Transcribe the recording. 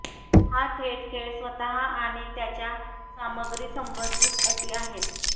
हे थेट खेळ स्वतः आणि त्याच्या सामग्री संबंधित अटी आहेत